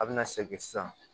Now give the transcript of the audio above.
A bɛna segin sisan